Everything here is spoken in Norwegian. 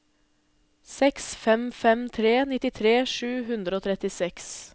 seks fem fem tre nittitre sju hundre og trettiseks